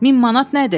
Min manat nədir?